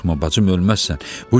Qorxma bacım, ölməzsən.